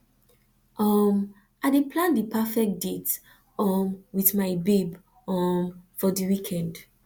um i dey plan di perfect date um wit my babe um for di weekend